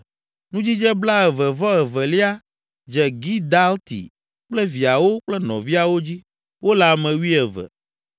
Nudzidze blaeve-vɔ-evelia dze Gidalti kple viawo kple nɔviawo dzi; wole ame wuieve.